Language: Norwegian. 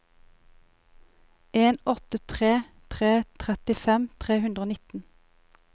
en åtte tre tre trettifem tre hundre og nitten